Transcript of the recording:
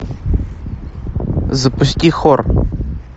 запусти хор